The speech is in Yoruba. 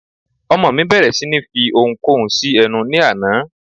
Ọmọ mí bẹ̀rẹ̀ sí ní fi oun kóun sí ẹnu ní àná